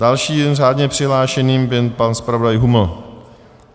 Dalším řádně přihlášeným byl pan zpravodaj Huml.